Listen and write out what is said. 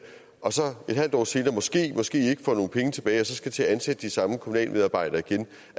og så et halvt år senere måskemåske ikke får nogle penge tilbage og så skal til at ansætte de samme kommunalmedarbejdere igen